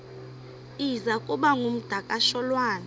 iza kuba ngumdakasholwana